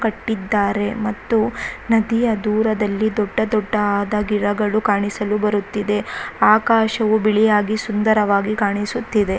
ಕಟ್ಟಿದ್ದಾರೆ ಮತ್ತು ನದಿಯ ದೂರದಲ್ಲಿ ದೊಡ್ಡ ದೊಡ್ಡ ಆದ ಗಿಡಗಳು ಕಾಣಿಸಲು ಬರುತ್ತಿದೆ ಆಕಾಶವು ಬಿಳಿಯಾಗಿ ಸುಂದರವಾಗಿ ಕಾಣಿಸುತ್ತಿದೆ.